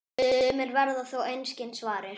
Sumir verða þó einskis varir.